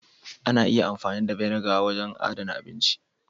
Ana iya amfani da " vinegar " ya wajen adana abinci.